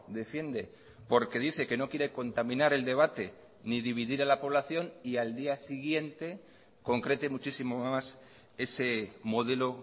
defiende porque dice que no quiere contaminar el debate ni dividir a la población y al día siguiente concrete muchísimo más ese modelo